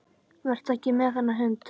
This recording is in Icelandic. Vertu ekki með þennan hund.